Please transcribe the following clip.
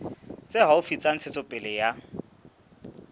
tse haufi tsa ntshetsopele ya